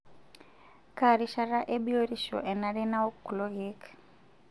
Kaa rishata e biotisho enare nawok kulo keek?